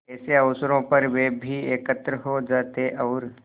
ऐसे अवसरों पर वे भी एकत्र हो जाते और